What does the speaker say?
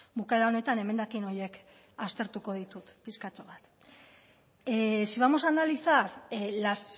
bukaera honetan emendakin horiek aztertuko ditut pixkatxo bat si vamos a analizar las